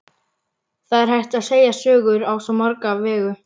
Það er hægt að segja sögur á svo marga vegu.